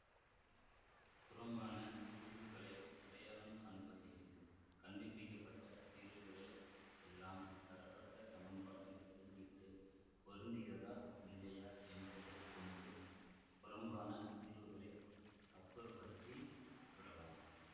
புறம்பான தீர்வுகளை அடையாளம் காண்பது எளிது கண்டுபிடிக்க பட்ட தீர்வுகளை எல்லாம் தரப்பட்ட சமன்பாட்டில் பிரதியிட்டு பொருந்துகிறதா இல்லையா என்பதை கொண்டு புறம்பான தீர்வுகளை அப்புறப்படுத்தி விடலாம்